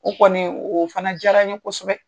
O kɔni o fana jara n ye kosɛbɛ